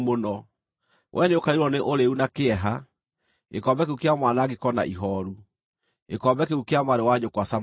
Wee nĩũkaiyũrwo nĩ ũrĩĩu na kĩeha, gĩkombe kĩu kĩa mwanangĩko na ihooru, gĩkombe kĩu kĩa mwarĩ wa nyũkwa Samaria.